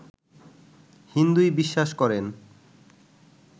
হিন্দুই বিশ্বাস করেন